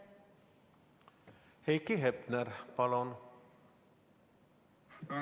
Heiki Hepner, palun!